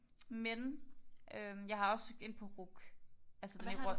Men øh jeg har også søgt ind på RUC altså den i